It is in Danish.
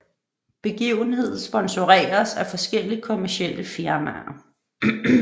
Begivenheden sponsoreres af forskellige kommercielle firmaer